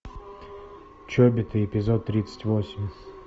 чобиты эпизод тридцать восемь